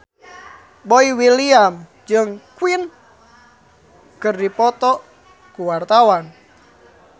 Boy William jeung Queen keur dipoto ku wartawan